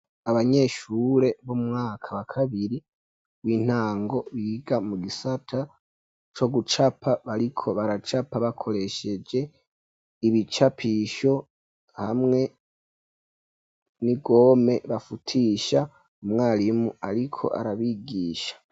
Abanyeshure, bo mu mwaka wa kabiri, w'intango, biga mu gisata co gucapa; bariko baracapa, bakoresheje ibicapisho, hamwe n'igome bafutisha; umwarimu ariko arabigisha.